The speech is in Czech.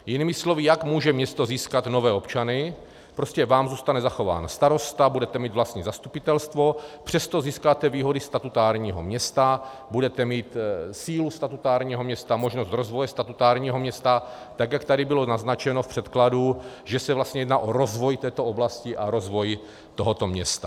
Jinými slovy, jak může město získat nové občany, prostě vám zůstane zachován starosta, budete mít vlastní zastupitelstvo, přesto získáte výhody statutárního města, budete mít sílu statutárního města, možnost rozvoje statutárního města, tak jak tady bylo naznačeno v předkladu, že se vlastně jedná o rozvoj této oblasti a rozvoj tohoto města.